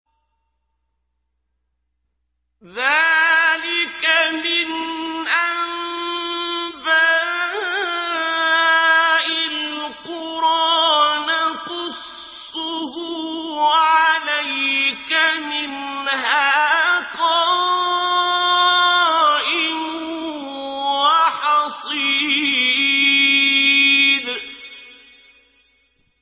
ذَٰلِكَ مِنْ أَنبَاءِ الْقُرَىٰ نَقُصُّهُ عَلَيْكَ ۖ مِنْهَا قَائِمٌ وَحَصِيدٌ